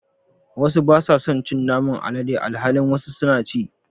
wasu basa son cin Naman alade alhalin wasu suna ci.